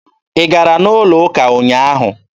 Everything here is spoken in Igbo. Ị gara n'ụlọ ụka ụnyaahụ?